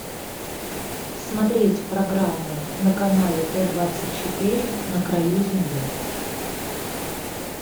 смотреть программу на канале т двадцать четыре на краю земли